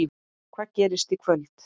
Hvað gerist í kvöld?